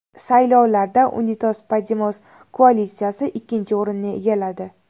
Saylovlarda Unidos Podemos koalitsiyasi ikkinchi o‘rinni egalladi.